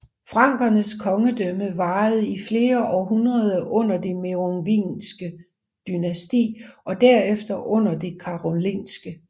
Frankernes kongedømme varede i flere århundreder under det merovingiske dynasti og derefter under det karolingiske